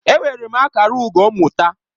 Enwere m akara ugo mmụta.